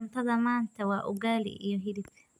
Cuntada maanta waa ugaali iyo hilib.